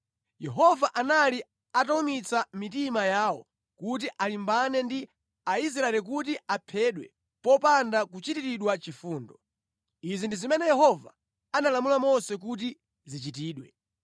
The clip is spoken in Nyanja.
Yehova anali atawumitsa mitima yawo kuti alimbane ndi Aisraeli kuti aphedwe popanda kuchitiridwa chifundo. Izi ndi zimene Yehova analamula Mose kuti zichitidwe.